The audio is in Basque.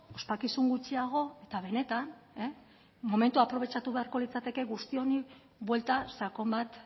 ospakizun gutxiago eta benetan momentua aprobetxatu beharko litzateke guzti honi buelta sakon bat